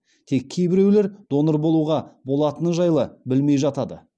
тек кейбіреулер донор болуға болатыны жайлы білмей жатады